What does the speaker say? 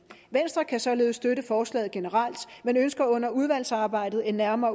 venstre kan således støtte forslaget generelt men ønsker under udvalgsarbejdet en nærmere